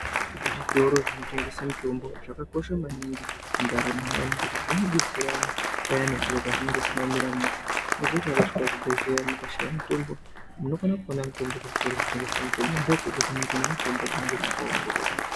Zvitoro zvinotengese mutombo zvakakosha maningi mundaramo iyani ngekuti zvinodetsera payani zviro pazvinenge zvisina kumira mushe unoziye kuti ukasvika kuzvibhehlera kusina mutombo munokona kuona mutombo kuzvitoro zvinotengese mutombo ndo kwega kunenge kunemutombo dzinenge dzakaongororwa .